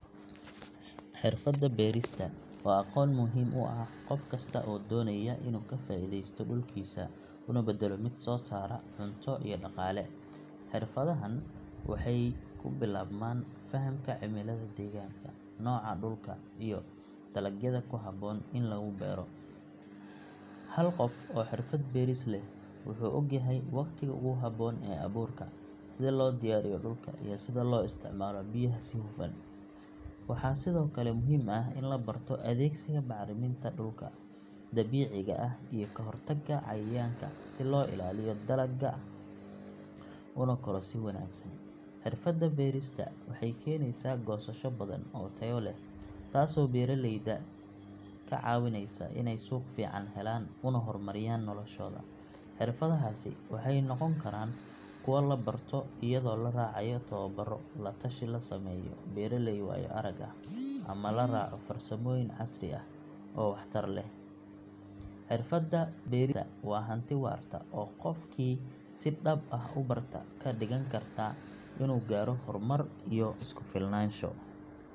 Xirfadda beerista waa aqoon muhiim u ah qof kasta oo doonaya inuu ka faa’iideysto dhulkiisa una beddelo mid soo saara cunto iyo dhaqaale. Xirfadahan waxay ku bilaabmaan fahamka cimilada deegaanka, nooca dhulka iyo dalagyada ku habboon in lagu beero. Hal qof oo xirfad beeris leh wuxuu ogyahay waqtiga ugu habboon ee abuurka, sida loo diyaariyo dhulka, iyo sida loo isticmaalo biyaha si hufan. Waxaa sidoo kale muhiim ah in la barto adeegsiga bacriminta dabiiciga ah iyo ka hortagga cayayaanka si loo ilaaliyo dalagga una koro si wanaagsan. Xirfadda beerista waxay keenaysaa goosasho badan oo tayo leh taasoo beeraleyda ka caawinaysa in ay suuq fiican helaan una horumariyaan noloshooda. Xirfadahaasi waxay noqon karaan kuwo la barto iyadoo la raacayo tababarro, la tashi la sameeyo beeraley waayo-arag ah ama la raaco farsamooyin casri ah oo waxtar leh. Xirfadda beerista waa hanti waarta oo qofkii si dhab ah u barta ka dhigan karta inuu gaaro horumar iyo isku filnaansho.